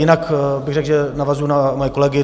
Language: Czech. Jinak bych řekl, že navazuji na svoje kolegy.